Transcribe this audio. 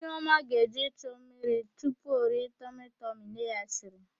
Nneọma ga-eje ichu mmiri tupu o rie tọmịtọmị nne ya siri.